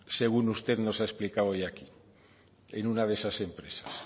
según usted nos ha explicado hoy aquí en una de esas empresas